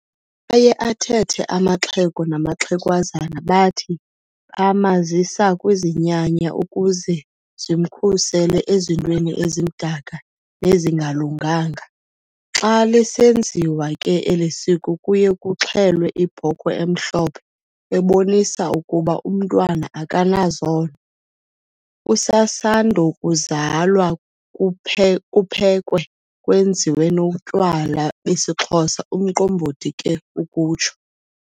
Aye athethe amaxhego namaxhagwazana bathi 'bamazisa kwizinyanya ukuze zimkhusele ezintweni ezimdaka nezingalunganga'. Xa lisenziwa ke elisiko kuye kuxhelwe ibhokhwe emhlophhe ebonisa ukuba umntwana akanazono, usasandokuzalwa kuphekwe, kwenziwe notywala besixhosa umqombothi ke ukutsho .